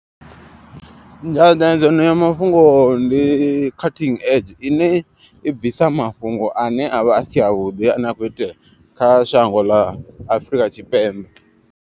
Nyaṋdadzano ya mafhungo ndi cutting edge ine i bvisa mafhungo ane avha asi avhuḓi ane a kho itea kha shango ḽa Afrika Tshipembe.